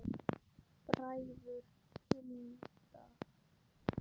Bræður Hindar